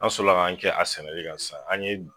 An sɔrɔla kan kɛ a sɛnɛli kan sisan, an ye.